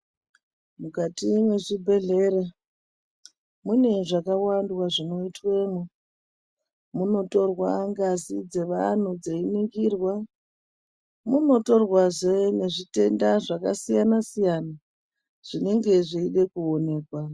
Mukati mwezvibhehlera mune zvakawandwa zvinoitwemwo ngazi dzevanhu dzeiningirwe, munotorwazve nezvitenda zvakasiyana-siyana zvinenge zveide kuonekwa.